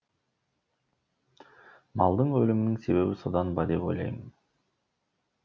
малдың өлімінің себебі содан ба деп ойлаймын